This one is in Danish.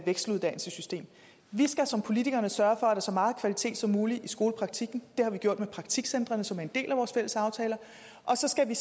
vekseluddannelsessystem vi skal som politikere sørge for at så meget kvalitet som muligt i skolepraktikken det har vi gjort med praktikcentrene som er en del af vores fælles aftaler og så skal vi